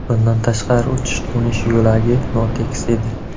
Bundan tashqari uchish-qo‘nish yo‘lagi notekis edi.